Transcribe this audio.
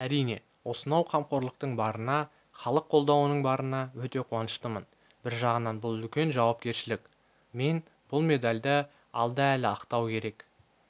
әрине осынау қамқорлықтың барына іалық қолдауының барына өте қуаныштымын бір жағынан бұл үлкен жауапкершілік мен бұл медальді алда әлі ақтау керек